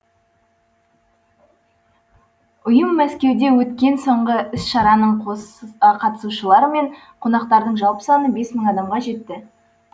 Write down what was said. ұйым мәскеуде өткен соңғы іс шараның қатысушылары мен қонақтарының жалпы саны бес мың адамға жетті